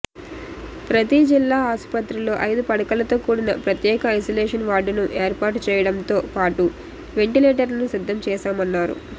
ప్రతీ జిల్లా ఆసుపత్రిలో ఐదు పడకలతో కూడిన ప్రత్యేక ఐసోలేషన్ వార్డును ఏర్పాటు చేయడంతో పాటు వెంటిలేటర్లను సిద్ధం చేశామన్నారు